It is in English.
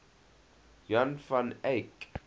jan van eyck